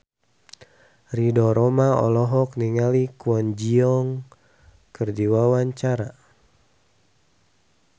Ridho Roma olohok ningali Kwon Ji Yong keur diwawancara